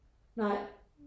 Nej